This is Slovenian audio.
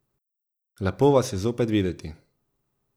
Lepo vas je zopet videti.